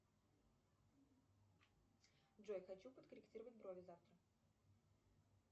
джой хочу подкорректировать брови завтра